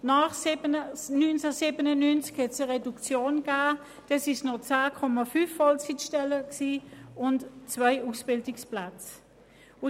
Nach 1997 kam es zu einer Reduktion auf 10,5 Vollzeitstellen und zwei Ausbildungsplätze.